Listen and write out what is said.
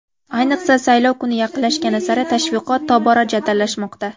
Ayniqsa, saylov kuni yaqinlashgani sari tashviqot tobora jadallashmoqda.